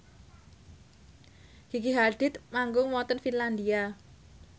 Gigi Hadid manggung wonten Finlandia